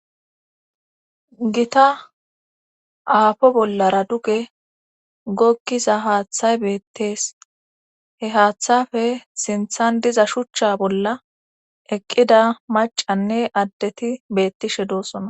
Gita aafo bollara duge gogiza haaththay beetees. he haththapp sinththan diza shuchcha bolla eqqida maccanne adeti beetishe doosona.